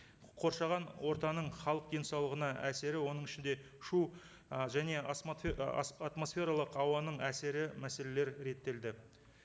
қоршаған ортаның халық денсаулығына әсері оның ішінде шу ы және атмосфералық ауаның әсері мәселелері реттелді